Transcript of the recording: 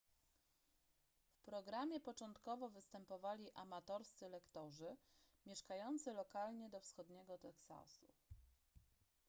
w programie początkowo występowali amatorscy lektorzy mieszkający lokalnie do wschodniego teksasu